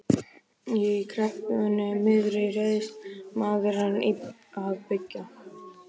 Í kreppunni miðri réðist maðurinn í að byggja.